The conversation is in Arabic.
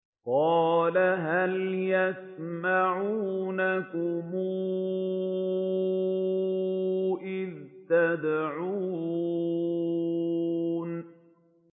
قَالَ هَلْ يَسْمَعُونَكُمْ إِذْ تَدْعُونَ